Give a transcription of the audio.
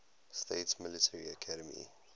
states military academy